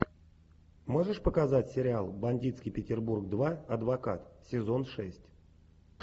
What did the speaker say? можешь показать сериал бандитский петербург два адвокат сезон шесть